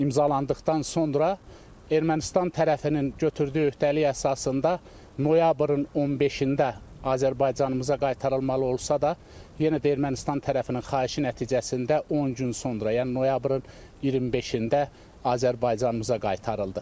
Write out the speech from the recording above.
İmzalandıqdan sonra Ermənistan tərəfinin götürdüyü öhdəlik əsasında noyabrın 15-də Azərbaycanımıza qaytarılmalı olsa da, yenə də Ermənistan tərəfinin xahişi nəticəsində 10 gün sonra, yəni noyabrın 25-də Azərbaycanımıza qaytarıldı.